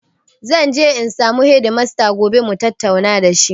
Zanje in samu hedimasta gobe mutatauna da shi